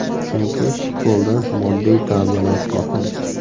Chunki futbolda moddiy ta’minot muhim.